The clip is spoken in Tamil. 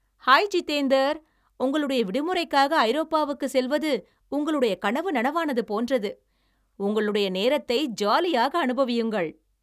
ஹாய் ஜிதேந்தர், உங்களுடைய விடுமுறைக்காக ஐரோப்பாவுக்கு செல்வது உங்களுடைய கனவு நனவானது போன்றது, உங்களுடைய நேரத்தை ஜாலியாக அனுபவியுங்கள்.